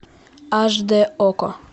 аш д окко